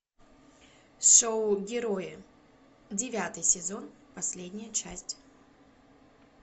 шоу герои девятый сезон последняя часть